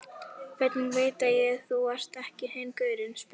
Hvernig veit ég að þú ert ekki hinn gaurinn, spurði